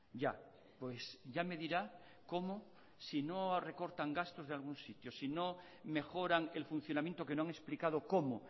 ya pues ya me dirá cómo si no recortan gastos de algún sitio si no mejoran el funcionamiento que no han explicado cómo